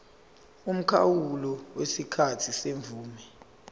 umkhawulo wesikhathi semvume